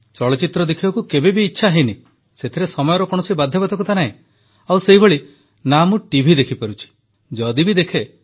ଚଳଚ୍ଚିତ୍ର ଦେଖିବାକୁ କେବେ ଇଚ୍ଛା ବି ହୋଇନାହିଁ ସେଥିରେ ସମୟର କୌଣସି ବାଧ୍ୟବାଧକତା ନାହିଁ ଆଉ ସେହିଭଳି ଟିଭି ଦେଖିପାରିବେ